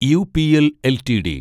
UPL LTD